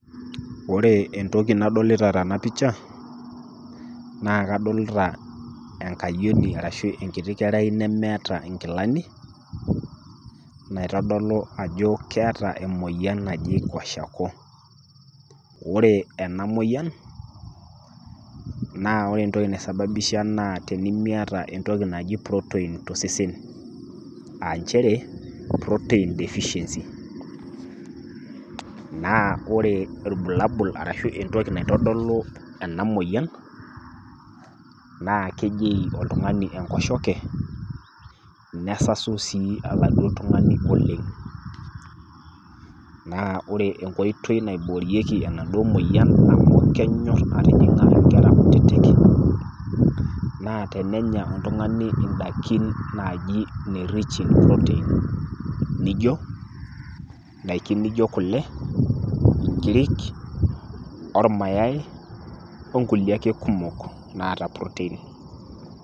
Ore entoki nadolita tenapisha naa kadolta enkayioni arashu enkiti kerai nemeeta nkilani naitadolu ajo keeta emoyian naji kwashiokoo. Ore enamoyian na ore entoki naisabibisha na tenimiata entoki naji protein to sesen aanchere protein deficiency naa ore irbulabul arashu entoki naitodolu ena moyian naa kejeyu oltungani enkosheke nesasu si alangu oltungani, na ore enkoitoi naiborieki enaduo moyian amu kenyor atijinga nkera kutitik naa tenenya oltungani ndakin na rich in proteins nijo ndakin nijo kule, nkirik ormayai onkulie ake kumok naata proteins.